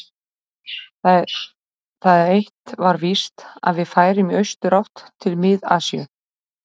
Það eitt var víst, að við færum í austurátt, til Mið-Asíu.